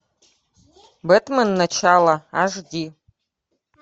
бетмен начало аш ди